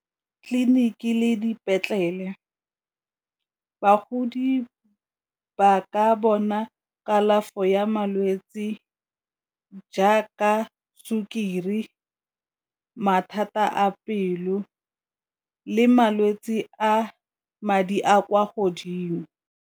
Tleliniki le dipetlele, bagodi ba ka bona kalafo ya malwetse jaaka sukiri, mathata a pelo le malwetse a madi a kwa godimo.